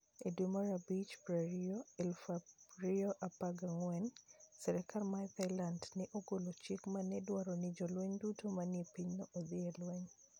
E dwe mar abich 20, 2014, sirkal mar Thailand ne ogolo chik ma ne dwaro ni jolweny duto manie pinyno odhi e lweny.